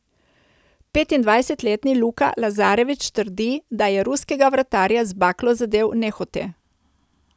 Petindvajsetletni Luka Lazarević trdi, da je ruskega vratarja z baklo zadel nehote.